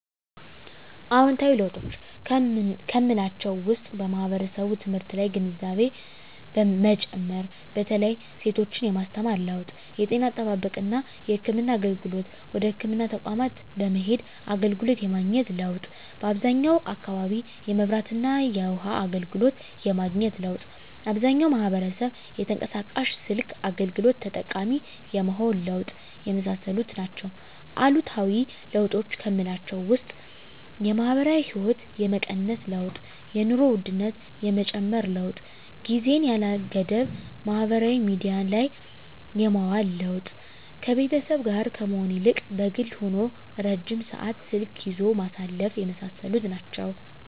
አዎንታዊ ለውጦች ከምላቸው ውስጥ ማህበረሰቡ ትምህርት ላይ ያለው ግንዛቤ መጨመር በተለይ ሴቶችን የማስተማር ለውጥ የጤና አጠባበቅና የህክምና አገልግሎትን ወደ ህክምና ተቋማት በመሄድ አገልግሎት የማግኘት ለውጥ በአብዛኛው አካባቢ የመብራትና የውሀ አገልግሎት የማግኘት ለውጥ አብዛኛው ማህበረሰብ የተንቀሳቃሽ ስልክ አገልግሎት ተጠቃሚ የመሆን ለውጥ የመሳሰሉት ናቸው። አሉታዊ ለውጦች ከምላቸው ውስጥ የማህበራዊ ህይወት የመቀነስ ለውጥ የኑሮ ውድነት የመጨመር ለውጥ ጊዜን ያለ ገደብ ማህበራዊ ሚዲያ ላይ የማዋል ለውጥ ከቤተሰብ ጋር ከመሆን ይልቅ በግል ሆኖ ረጅም ሰዓት ስልክ ይዞ ማሳለፍ የመሳሰሉት ናቸው።